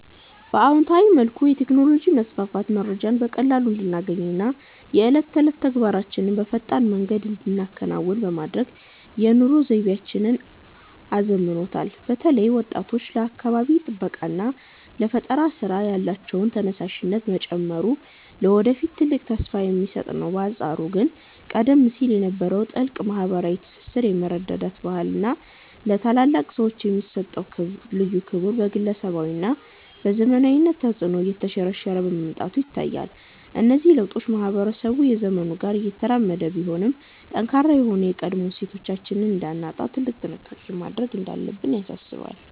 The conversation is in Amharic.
በአዎንታዊ መልኩ፣ የቴክኖሎጂ መስፋፋት መረጃን በቀላሉ እንድናገኝና የዕለት ተዕለት ተግባራችንን በፈጣን መንገድ እንድንከውን በማድረግ የኑሮ ዘይቤያችንን አዘምኖታል። በተለይ ወጣቶች ለአካባቢ ጥበቃና ለፈጠራ ሥራ ያላቸው ተነሳሽነት መጨመሩ ለወደፊት ትልቅ ተስፋ የሚሰጥ ነው። በአንጻሩ ግን ቀደም ሲል የነበረው ጥልቅ ማኅበራዊ ትስስር፣ የመረዳዳት ባህልና ለታላላቅ ሰዎች የሚሰጠው ልዩ ክብር በግለሰባዊነትና በዘመናዊነት ተጽዕኖ እየተሸረሸረ መምጣቱ ይታያል። እነዚህ ለውጦች ማኅበረሰቡ ከዘመኑ ጋር እየተራመደ ቢሆንም፣ ጠንካራ የሆኑ የቀድሞ እሴቶቻችንን እንዳናጣ ትልቅ ጥንቃቄ ማድረግ እንዳለብን ያሳስባሉ።